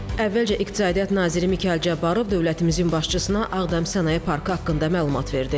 Əvvəlcə iqtisadiyyat naziri Mikayıl Cabbarov dövlətimizin başçısına Ağdam sənaye parkı haqqında məlumat verdi.